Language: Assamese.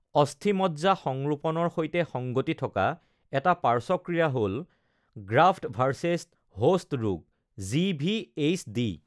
অস্থিমজ্জা সংৰোপণৰ সৈতে সংগতি থকা এটা পাৰ্শ্বক্ৰিয়া হ’ল গ্ৰাফ্ট-ভাৰ্চেছ-হোষ্ট ৰোগ (জি.ভি.এইচ.ডি)।